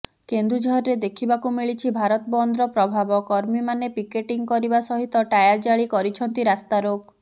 କେନ୍ଦୁଝରରେ ଦେଖିବାକୁ ମିଳିଛି ଭାରତ ବନ୍ଦର ପ୍ରଭାବ କର୍ମୀମାନେ ପିକେଟିଂ କରିବା ସହିତ ଟାୟାର ଜାଳି କରିଛନ୍ତି ରାସ୍ତାରୋକ